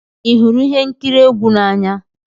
Ị hụrụ ihe nkiri egwu n'anya?